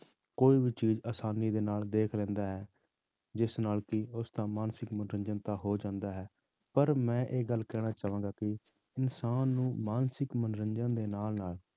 ਕੋਈ ਵੀ ਚੀਜ਼ ਆਸਾਨੀ ਦੇ ਨਾਲ ਦੇਖ ਲੈਂਦਾ ਹੈ ਜਿਸ ਨਾਲ ਕਿ ਉਸਦਾ ਮਾਨਸਿਕ ਮਨੋਰੰਜਨ ਤਾਂ ਹੋ ਜਾਂਦਾ ਹੈ, ਪਰ ਮੈਂ ਇਹ ਗੱਲ ਕਹਿਣਾ ਚਾਹਾਂਗਾ ਕਿ ਇਨਸਾਨ ਨੂੰ ਮਾਨਸਿਕ ਮਨੋਰੰਜਨ ਦੇ ਨਾਲ ਨਾਲ